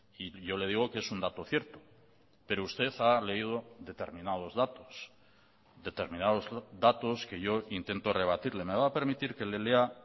y yo le digo que es un dato cierto pero usted ha leído determinados datos determinados datos que yo intento rebatirle me va a permitir que le lea